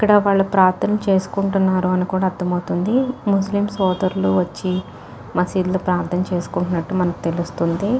వాళ్ళు ప్రార్థనలు చేసుకుంటున్నారు అనికూడా అర్థం అవుతుంది ముస్లిం సోదరులు వచ్చి మసీదులో ప్రార్థనలు చేసుకుంటున్నటు మనకు తెలుస్తుంది .